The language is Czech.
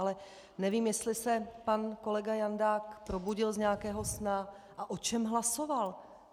Ale nevím, jestli se pan kolega Jandák probudil z nějakého snu a o čem hlasoval.